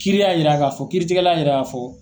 Kiiri y'a yira k'a fɔ kiiritigɛla yira ka fɔ.